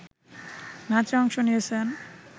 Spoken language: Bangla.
নাচে অংশ নিয়েছেন